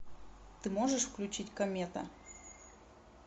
ты можешь включить комета